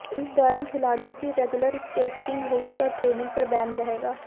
इस दौरान खिलाड़ियों की रेगुलर टेस्टिंग होगी और ट्रेनिंग पर बैन रहेगा